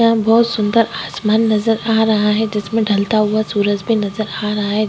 आसमान नज़र आ रहा है जिसमें ढलता हुआ सूरज भी नज़र आ रहा है।